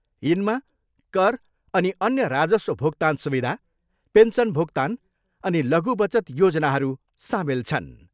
यिनमा कर अनि अन्य राजस्व भुक्तान सुविधा, पेन्सन भुक्तान अनि लघु बचत योजनाहरू सामेल छन्।